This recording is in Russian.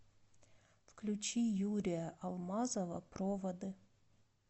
включи юрия алмазова проводы